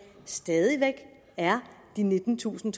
stadig væk er de nittentusind